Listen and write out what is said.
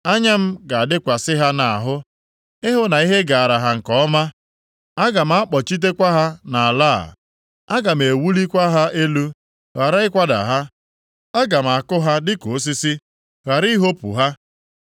Anya m ga-adịkwasị ha nʼahụ ịhụ na ihe gaara ha nke ọma. Aga m akpọghachitekwa ha nʼala a. Aga m ewulikwa ha elu ghara ikwada ha; Aga m akụ ha dịka osisi ghara ihopu ha.